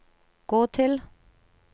gå til